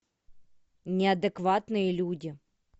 неадекватные люди